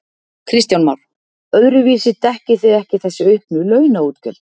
Kristján Már: Öðruvísi dekkið þið ekki þessi auknu launaútgjöld?